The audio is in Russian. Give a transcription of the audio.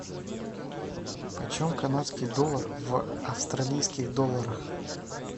почем канадский доллар в австралийских долларах